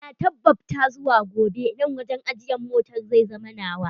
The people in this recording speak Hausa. Na tabbabta zuwa gobe nan wajen ajiyan motar zai zama nawa.